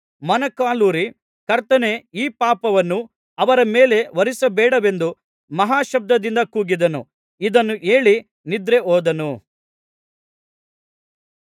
ಮೊಣಕಾಲೂರಿ ಕರ್ತನೇ ಈ ಪಾಪವನ್ನು ಅವರ ಮೇಲೆ ಹೊರಿಸಬೇಡವೆಂದು ಮಹಾಶಬ್ದದಿಂದ ಕೂಗಿದನು ಇದನ್ನು ಹೇಳಿ ನಿದ್ರೆಹೋದನು